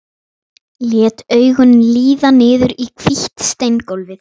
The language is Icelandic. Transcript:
Lét augun líða niður í hvítt steingólfið.